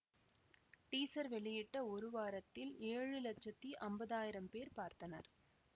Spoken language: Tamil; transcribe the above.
டீசர் வெளியிட்ட ஒரு வாரத்தில் ஏழு லட்சத்தி அம்பதாயிரம் பேர் பார்த்தனர்